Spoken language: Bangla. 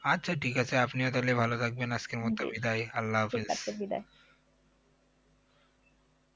আচ্ছা ঠিক আছে আপনিও তাহলে ভালো থাকবেন আজকের আল্লাহ হাফেজ